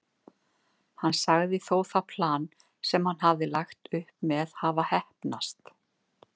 Hann sagði þó það plan sem hann hafði lagt upp með hafa heppnast.